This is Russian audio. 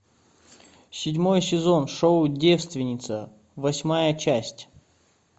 седьмой сезон шоу девственница восьмая часть